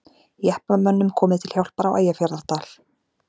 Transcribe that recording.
Jeppamönnum komið til hjálpar á Eyjafjarðardal